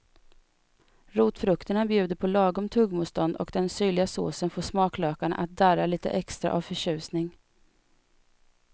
Rotfrukterna bjuder på lagom tuggmotstånd och den syrliga såsen får smaklökarna att darra lite extra av förtjusning.